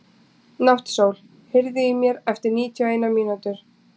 Náttsól, heyrðu í mér eftir níutíu og eina mínútur.